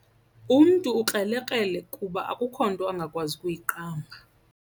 Umntu ukrelekrele kuba akukho nto angakwazi ukuyiqamba.